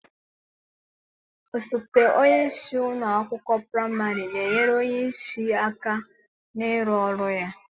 Osote onye isi ụlọ akwụkwọ praịmarị na-enyere onye isi aka n'ịrụ ọrụ ya.